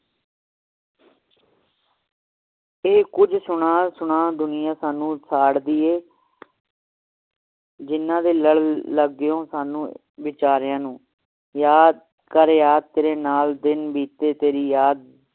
ਇਹ ਕੁਜ ਸੁਣਾ ਸੁਣਾ ਦੁਨੀਆਂ ਸਾਨੂ ਸਾੜਦੀ ਹੈ ਜਿਹਨਾਂ ਦੇ ਲੜ ਲਗਿਯੋ ਸਾਨੂੰ ਵਿਚਾਰਿਆਂ ਨੂੰ ਯਾਦ ਕਰ ਯਾਦ ਤੇਰੇ ਨਾਲ ਦਿਨ ਬੀਤੇ ਤੇਰੀ ਯਾਦ